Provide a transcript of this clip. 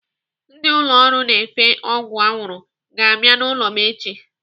Ndị ụlọ ọrụ na-efe ọgwụ arụrụ ga-abịa n'ụlọ m echi.